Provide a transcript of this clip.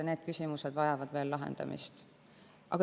Need küsimused vajavad veel lahendamist.